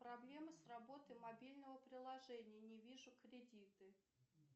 проблема с работой мобильного приложения не вижу кредиты